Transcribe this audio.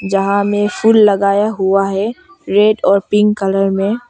यहाँ में फूल लगाया हुआ है रेड और पिंक कलर में।